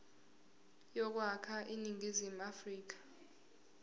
yokwakha iningizimu afrika